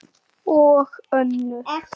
Og önnur